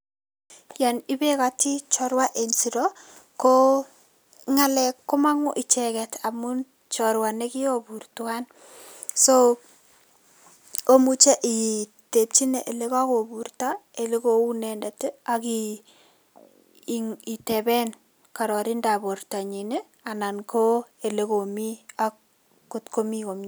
Yon ibekoti chorwa en siro ko ng'alek komong'u icheket amun chorwa nekirobur tuan. So omuche itepchine ilekokuburto ile kou inendet ak in iteben kororindap bortanyin ii anan ilekomi ak kotko komi komie.